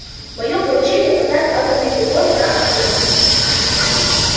моё поручение продать атомные приборы на аскони